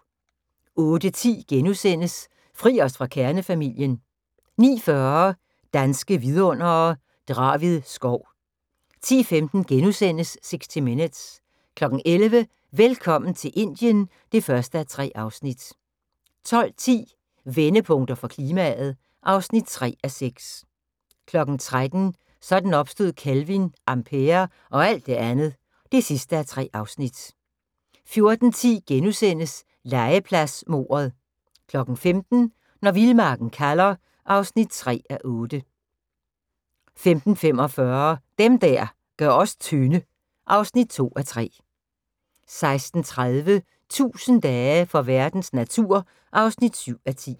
08:10: Fri os fra kernefamilien * 09:40: Danske Vidundere: Draved skov 10:15: 60 Minutes * 11:00: Velkommen til Indien (1:3) 12:10: Vendepunkter for klimaet (3:6) 13:00: Sådan opstod kelvin, ampere og alt det andet (3:3) 14:10: Legepladsmordet * 15:00: Når vildmarken kalder (3:8) 15:45: Dem der gør os tynde (2:3) 16:30: 1000 dage for verdens natur (7:10)